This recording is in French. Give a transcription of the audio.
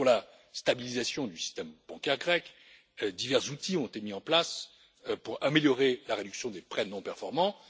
Pour la stabilisation du système bancaire grec, divers outils ont été mis en place pour améliorer la réduction des prêts non performants.